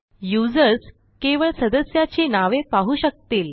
users केवळ सदस्याची नावे पाहू शकतील